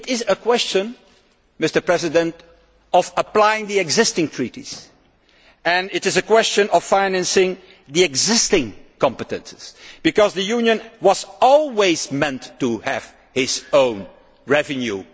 It is a question of applying the existing treaties and it is a question of financing existing competences, because the Union was always meant to have its own revenue.